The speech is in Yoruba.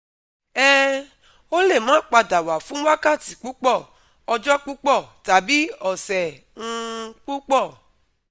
um O le ma pada wa fun wakati pupo, ojo pupo tabi ose um pupo